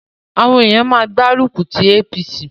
Àwọn èèyàn má gbá rùkùtí APC